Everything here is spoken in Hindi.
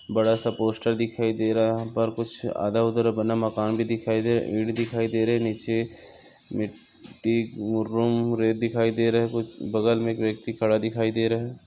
बड़ा सा पोस्टर दिखाई दे रहा पर कुछ आधा-अधूरा बना हुआ मकान भी दिखा दे ईट दिखाई दे रही है नीचे मिट्टी बगल में एक व्यक्ती खड़ा दिखाई दे रहा है।